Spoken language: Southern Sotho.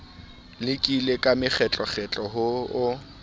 lekile ka makgetlokgetlo ho o